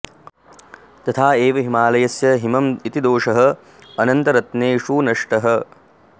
तथा एव हिमालयस्य हिमम् इति दोषः अनन्तरत्नेषु नष्टः